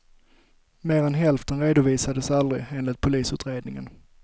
Mer än hälften redovisades aldrig, enligt polisutredningen.